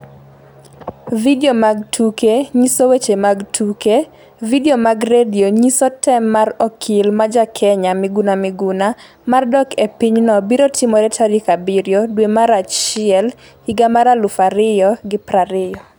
Skip to details Weche Mag Tuke Vidio Mag Tuke Nyiso Weche Mag Tuke Video mag Radio Nyiso Tem mar okil ma ja Kenya miguna Miguna mar dok e pinyno birotimore tarik 7 dwe mar achiel dwe mar achiel higa mar 2020